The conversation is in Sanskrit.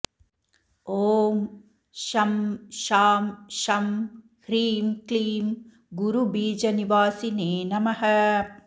ॐ शं शां षं ह्रीं क्लीं गुरुबीजनिवासिने नमः